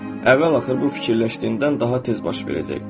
əvvəl-axır bu fikirləşdiyindən daha tez baş verəcək.